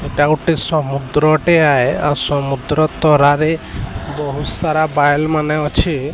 ଏଇଟା ଗୋଟେ ସମୁଦ୍ର ଟା ଆୟେ ଆଉ ସମୁଦ୍ର ତରାରେ ବହୁତ୍ ସାରା ବାଲ୍ ମାନେ ଅଛି।